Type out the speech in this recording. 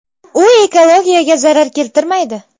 U ekologiyaga zarar keltirmaydi.